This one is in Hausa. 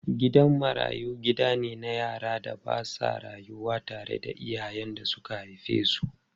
Gidan marayu gida ne na yaran da ba sa rayuwa tare da iyayen da suka haife su.